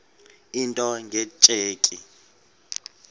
into nge tsheki